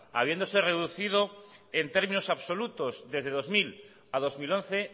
habiéndose reducido en términos absolutos desde dos mil a dos mil once